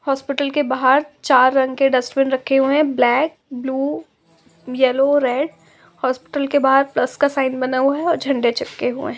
Hospital के बहार चार रंग के डस्टबिन रखे हुए है black blue yellow red hospital के बहार प्लस का साइन बना हुआ हैं और झंडे चिपके हुए हैं।